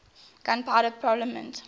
gunpowder propellant used